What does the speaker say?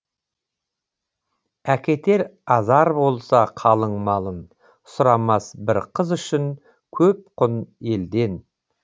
әкетер азар болса қалың малын сұрамас бір қыз үшін көп құн елден